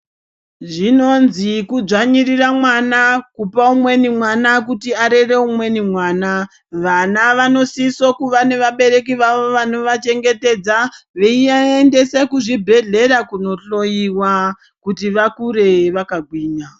Zvinonzi kudzvanyirira mwana kupa umweni mwana kuti arere umweni mwana, vana vanosisa kuva nevabereki vavo vanovachengetedza veivaendesa kuchibhedhleya kunohloyiwa kuti vakure vakagwinya.